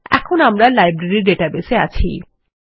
এখন আমরা library database এ আছি